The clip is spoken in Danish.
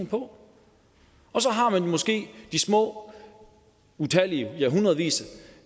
på og så har man måske de små utallige ja hundredvis